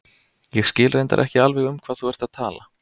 Ég skil reyndar ekki alveg um hvað þú ert að tala.